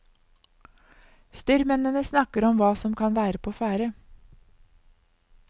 Styrmennene snakker om hva som kan være på ferde.